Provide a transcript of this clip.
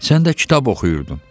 Sən də kitab oxuyurdun.